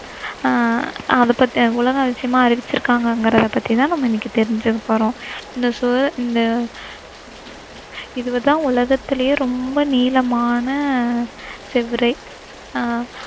ஆஹ் அதப்பத்தி, உலக அதிசயமா அறிவிச்சிருக்காங்கங்கிறத பத்தி தான் நாம தெரிஞ்சுக்க போறோம். இந்த சுவ~இந்த இது தான் உலகத்திலேயே ரொம்ப நீளமான சுவரே ஆஹ்